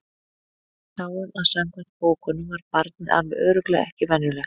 Við sáum að samkvæmt bókunum var barnið alveg örugglega ekki venjulegt.